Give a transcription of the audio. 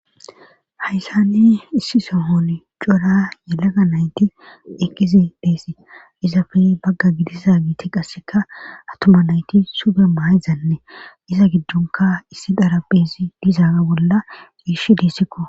Hayssani issi sohon cora yelaga nayti ekizibeesi izafe bagga gidisa giti qasseka atuma nayti sube maayizanne iza giddunka issi dara beessi dizaaga bolla iish dissikko